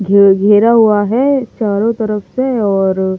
घे घेरा हुआ है चारों तरफ से और --